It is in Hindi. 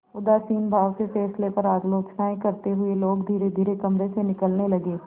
उदासीन भाव से फैसले पर आलोचनाऍं करते हुए लोग धीरेधीरे कमरे से निकलने लगे